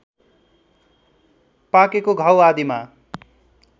पाकेको घाउ आदिमा